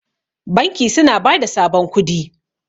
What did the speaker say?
banki suna ba da sabon kudi